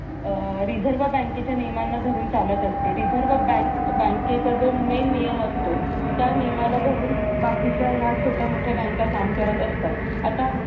अह reserve बँकेच्या नियमांना धरून चालत असते reserve bank बँकेचा जो main नियम असतो त्या नियमाला धरून बाकीच्या या छोट्या मोठ्या बँका काम करत असतात आता